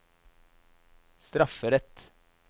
strafferett